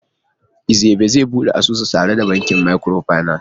Ebere zai bude asusu tare da bankin microfinance?